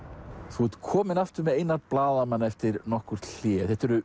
þú ert kominn aftur með Einar blaðamann eftir nokkurt hlé þetta eru